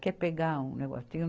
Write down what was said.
Quer pegar um negocinho?